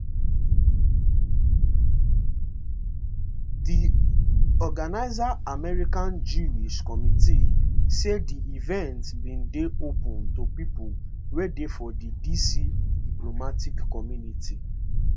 di organiser american jewish committee say di event bin dey open to pipo wey dey for di dc diplomatic community